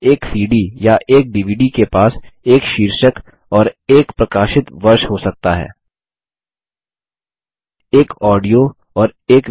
एक सीडी या एक डीवीडी के पास एक शीर्षक और एक प्रकाशित वर्ष हो सकता है उदाहरणस्वरुप